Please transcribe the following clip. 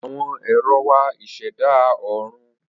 Awọn éro wà iseda Oorun